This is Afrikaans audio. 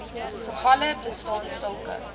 gevalle bestaan sulke